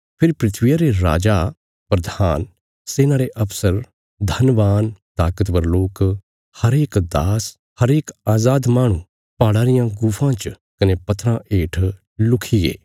फेरी धरतिया रे राजा प्रधान सेना रे अफसर धनवान ताकतवर लोक हरेक दास हरेक अजाद माहणु पहाड़ा रियां गुफां च कने पत्थराँ हेठ लुखीगे